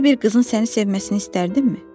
Elə belə bir qızın səni sevməsini istərdinmi?